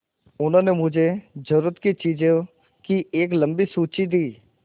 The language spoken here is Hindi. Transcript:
उन्होंने मुझे ज़रूरत की चीज़ों की एक लम्बी सूची दी